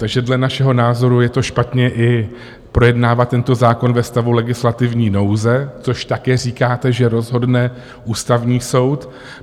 Takže dle našeho názoru je to špatně i projednávat tento zákon ve stavu legislativní nouze, což taky říkáte, že rozhodne Ústavní soud.